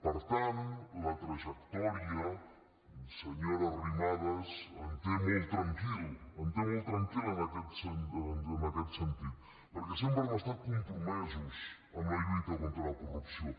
per tant la trajectòria senyora arrimadas em té molt tranquil em té molt tranquil en aquest sentit perquè sempre hem estat compromesos en la lluita contra la corrupció